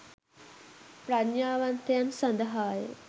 ප්‍රඥාවන්තයන් සඳහාය.